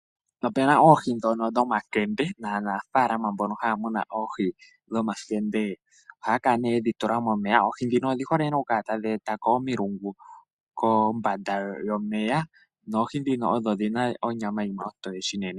Opuna oohi dhono dho makembe naanafalama mboka haya mununoohi dhomakembe . Oohi dhika odhi hole nee tadhi etako omilungu koombanda yomeya , noohi ndhika odho dhina onyama ontowe shinene.